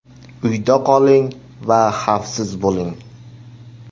Uyda qoling va xafsiz bo‘ling!